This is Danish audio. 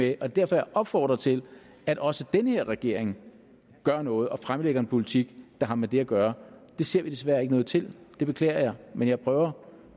det er derfor jeg opfordrer til at også den her regering gør noget og fremlægger en politik der har med det at gøre det ser vi desværre ikke noget til det beklager jeg men jeg prøver